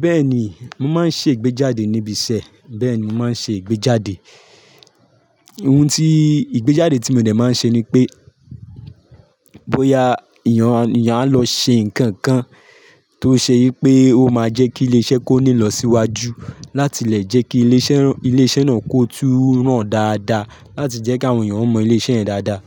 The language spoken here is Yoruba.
Bẹ́ẹ̀ ni, mo máa ń ṣe ìgbéjáde níbi iṣẹ́. Bẹ́ẹ̀ ni mo máa ń ṣe ìgbéjáde. Ohun ti ìgbéjáde tí mo dẹ̀ máa ń ṣe ni pé, bóyá èèyàn á lọ ṣe nǹkan kan tó ṣe yí pé ó máa jẹ́ kí ilé iṣẹ́ kó ní lọ síwájú, láti lè jẹ́ kí ilé iṣẹ́ náà kó tó rán dáadáa, láti jẹ́ kí àwọn èèyàn mọ ilé iṣẹ́ yẹn dáadáa.